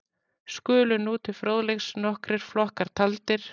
skulu nú til fróðleiks nokkrir flokkar taldir